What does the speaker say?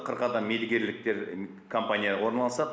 қырық адам мердігерліктер компанияға орналасады